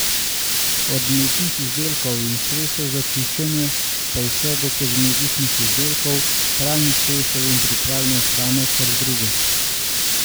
Od mlečnih izdelkov in sredstev za čiščenje pa vse do kozmetičnih izdelkov, pralnih sredstev in pripravljene hrane ter drugo.